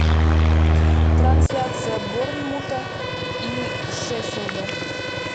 трансляция борнмута и шеффилда